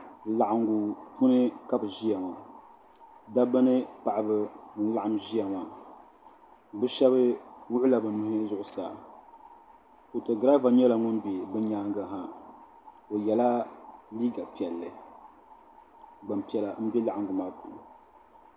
Laɣiŋgu puuni ka bi ʒiya ŋɔ dabba ni paɣaba n laɣim ʒiya maa bi shɛba wuɣi la bi nuhi zuɣusaa foto giraava nyɛla ŋun bɛ bi nyaanga ha o yɛla liiga piɛlli gbanpiɛla n bɛ laɣingu maa puuni.